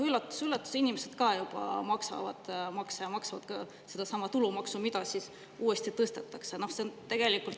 " Üllatus-üllatus: inimesed ka juba maksavad makse ja maksavad ka sedasama tulumaksu, mida nüüd uuesti tõstetakse.